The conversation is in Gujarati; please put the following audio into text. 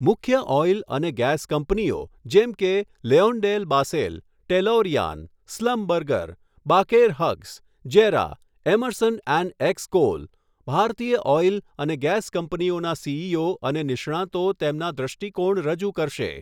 મુખ્ય ઓઇલ અને ગેસ કંપનીઓ જેમ કે, LyondellBasell, Tellurian, Schlumberger, Baker Hughes, JERA, Emerson and Xcoal, ભારતીય ઓઇલ અને ગેસ કંપનીઓના સીઈઓ અને નિષ્ણાતો તેમના દૃષ્ટિકોણ રજૂ કરશે.